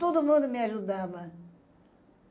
Todo mundo me ajudava.